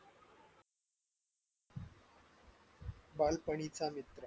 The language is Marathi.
बालपणीचा मित्र